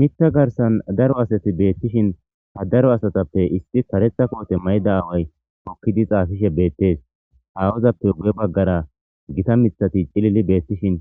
Miththa garsan daro asati beettishin ha daro asatappe issi karetha koote mayda aaway hokkidi xaasishe beettees. Awozappe gu7e baggara gita mithati cilili beettishin